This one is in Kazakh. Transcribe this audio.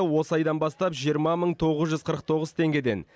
осы айдан бастап жиырма мың тоғыз жүз қырық тоғыз теңгеден